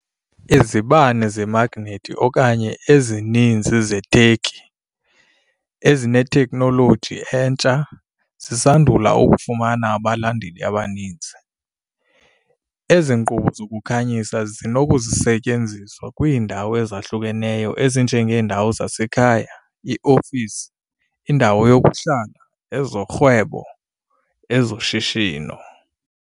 Izibane zemagnethi okanye ezininzi Zeturkey, ezinetekhnoloji entsha, zisandula ukufumana abalandeli abaninzi. Ezi nkqubo zokukhanyisa zinokusetyenziswa kwiindawo ezahlukeneyo ezinjengeendawo zasekhaya, iiofisi, indawo yokuhlala, ezorhwebo, ezoshishino.